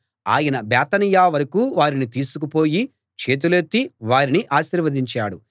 ఆయన బేతనియ వరకూ వారిని తీసుకు పోయి చేతులెత్తి వారిని ఆశీర్వదించాడు